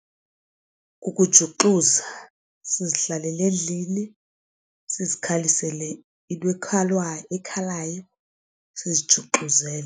Kukujuxuzwa sizihlalele endlini sizikhalisele into ekhalayo sizijuxuzele.